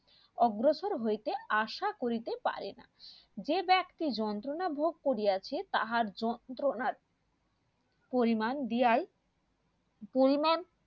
অগ্রসর হইতে আশা করিতে পারেনা যে ব্যাক্তি যন্ত্রণা ভোগ করিয়াছে তাহার যন্ত্রণার পরিমান দিয়াই পরিমান